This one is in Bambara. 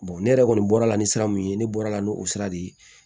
ne yɛrɛ kɔni bɔra ni sira min ye ne bɔra n'o sira de ye